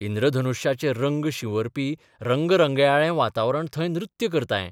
इंद्रधनुश्याचे रंग शिंवरपी रंगरंगयाळें वातावरण थंय नृत्य करतायें...